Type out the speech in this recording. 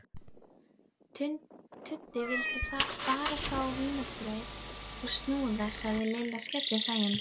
Tuddi vildi bara fá vínarbrauð og snúða sagði Lilla skellihlæjandi.